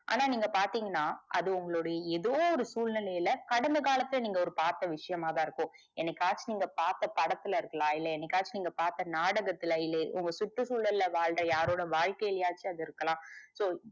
ஆனா நீங்க பாத்திங்கனா அது உங்களுடைய எதோ சூழ்நிலைல கடந்த காலத்துல நீங்க ஒரு பாத்தா விஷயமாதா இருக்கும் என்னைக்காச்சும் நீங்க பாத்தா படத்துல இருக்கலாம் இல்ல, என்னைக்காச்சும் நீங்க பாத்தா நாடகத் சுற்றுசூழல்ல வாழ்ற யாரோட வாழ்கைலியாச்சும் அது இருக்கலாம். so,